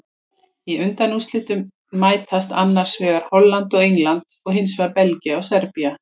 Í undanúrslitum mætast annars vegar Holland og England og hinsvegar Belgía og Serbía.